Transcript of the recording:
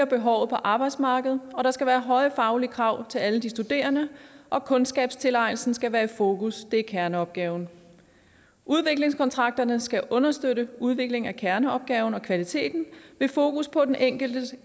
behovet på arbejdsmarkedet der skal være høje faglige krav til alle de studerende og kundskabstilegnelsen skal være i fokus det er kerneopgaven udviklingskontrakterne skal understøtte udvikling af kerneopgaverne og kvaliteten med fokus på den enkelte